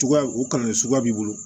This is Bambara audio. Cogoya u kalannenso b'i bolo